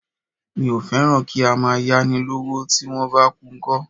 Mi ò fẹ́ràn kí ń máa yá ni lọ́wọ́, tí wón bá kú ńkọ́?